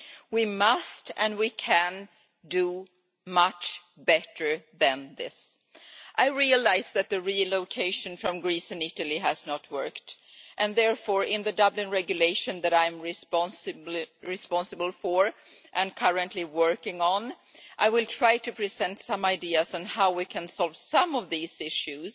We must and can do much better than this. I realise that the relocation from Greece and Italy has not worked. Therefore, in the Dublin Regulation that I am responsible for and currently working on, I will try to present some ideas on how we can solve some of these issues,